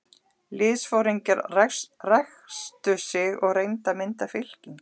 Liðsforingjarnir ræsktu sig og reyndu að mynda fylkingar.